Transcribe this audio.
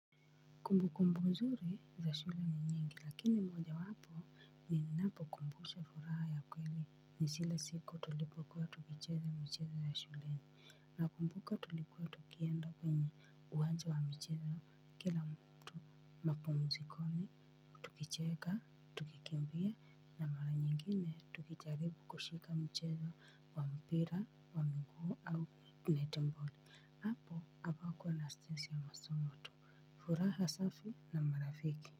Kumbu kumbu nzuri za shule ni nyingi lakini moja wapo ninapo kumbushwa furaha ya kweli ni zile siku tulipokuwa tukicheza michezo ya shuleni nakumbuka tulikuwa tukienda kwenye uwanja wa michezo kila mtu mapumzikoni tukicheka, tukikimbia na mara nyingine tukijaribu kushika mchezo wa mpira wa mguu au net ball. Hapo, hapakuwa na stress ya masomo tu, furaha safi na marafiki.